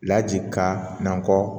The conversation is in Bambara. Laji ka nankɔ